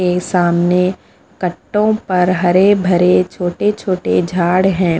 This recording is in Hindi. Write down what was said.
ये सामने कट्टों पर हरे भरे छोटे छोटे झाड़ हैं।